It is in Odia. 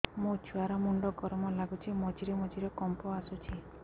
ମୋ ଛୁଆ ର ମୁଣ୍ଡ ଗରମ ଲାଗୁଚି ମଝିରେ ମଝିରେ କମ୍ପ ଆସୁଛି